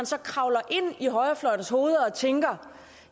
så kravler ind i højrefløjens hoveder og tænker